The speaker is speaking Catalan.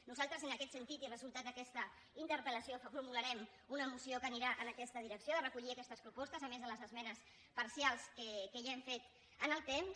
nosaltres en aquest sentit i resultat d’aquesta interpellació formularem una moció que anirà en aquesta direcció de recollir aquestes propostes a més de les esmenes parcials que ja hem fet en el temps